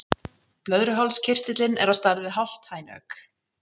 Blöðruhálskirtillinn er á stærð við hálft hænuegg.